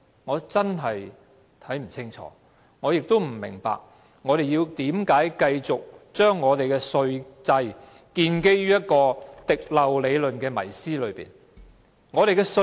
我真的不清楚，亦不明白，為甚麼我們要繼續讓我們的稅制建基於一個滴漏理論的迷思。